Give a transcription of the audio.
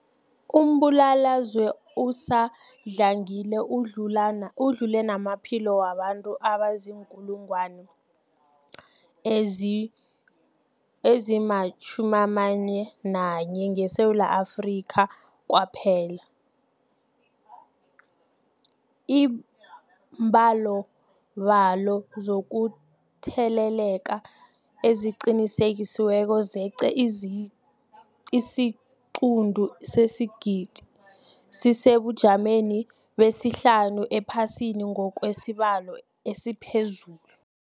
Umbulalazwe usadlangile udlule namaphilo wabantu abaziinkulungwana ezi-11 ngeSewula Afrika kwaphela. Iimbalobalo zokutheleleka eziqinisekisiweko zeqe isiquntu sesigidi, sisesebujameni besihlanu ephasini ngokwesibalo esiphezulu.